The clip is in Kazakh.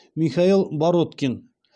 михаил бороткин